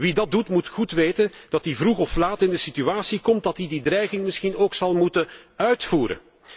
Wie dat doet moet goed weten dat hij vroeg of laat in de situatie komt dat hij die dreiging misschien ook zal moeten uitvoeren.